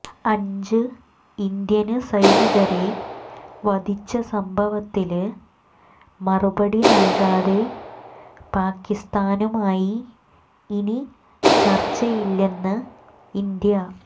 അഞ്ച് ഇന്ത്യന് സൈനികരെ വധിച്ച സംഭവത്തില് മറുപടി നല്കാതെ പാകിസ്ഥാനുമായി ഇനി ചര്ച്ചയില്ലെന്ന് ഇന്ത്യ